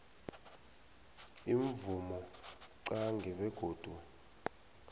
imvumo qange begodu